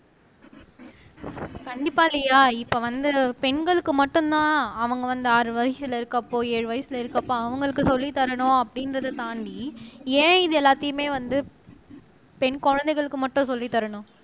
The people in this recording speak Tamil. கண்டிப்பா லியா இப்ப வந்து பெண்களுக்கு மட்டும்தான் அவங்க வந்து ஆறு வயசுல இருக்கப்போ ஏழு வயசுல இருக்கப்போ அவங்களுக்கு சொல்லித் தரணும் அப்படிங்கிறதை தாண்டி ஏன் இது எல்லாத்தையுமே வந்து பெண் குழந்தைகளுக்கு மட்டும் சொல்லித் தரணும்